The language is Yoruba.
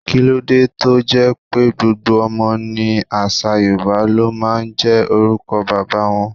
Kíló dé tó jẹ́ pé gbogbo ọmọ ní àṣà Yorùbá ló máa ń jẹ́ orúkọ bàbá wọn?